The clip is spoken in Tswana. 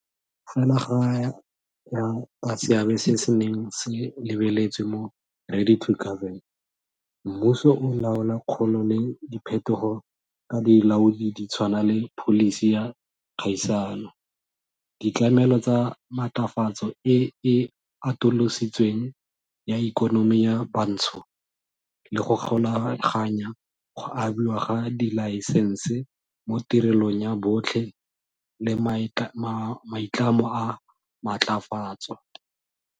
Fela go ya ka seabe se se neng se lebeletswe mo Ready to Govern, mmuso o laola kgolo le diphetogo ka dilaodi di tshwana le pholisi ya kgaisano, ditlamelo tsa maatlafatso e e atolositsweng ya ikonomi ya bantsho, le go golaganya go abiwa ga dilaesense mo tirelong ya botlhe le maitlamo a maatlafaatso.